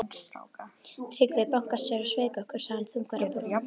Tryggvi bankastjóri sveik okkur, sagði hann þungur á brún.